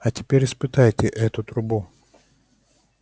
а теперь испытайте эту трубу